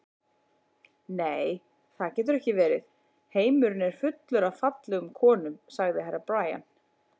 Nei, það getur ekki verið, heimurinn er fullur af fallegum konum, sagði Herra Brian.